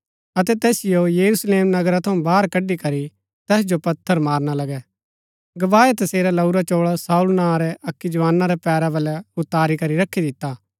अतै तैसिओ यरूशलेम नगरा थऊँ बाहर कड़ी करी तैस जो पत्थर मारना लगै गवाहै तसेरा लाऊरा चोळा शाऊल नां रै अक्की जवाना रै पैरा बलै उतारी करी रखी दिता